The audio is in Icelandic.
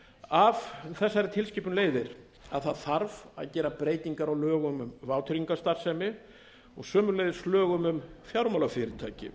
af þessari tilskipun leiðir að gera þarf breytingar á lögum um vátryggingarstarfsemi og sömuleiðis lögum um fjármálafyrirtæki